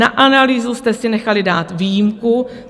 Na analýzu jste si nechali dát výjimku.